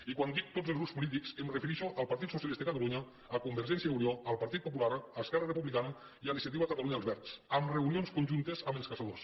i quan dic tots els grups polítics em refereixo al partit socialista de catalunya a convergència i unió al partit popular a esquerra republicana i a iniciativa per catalunya verds amb reunions conjuntes amb els caçadors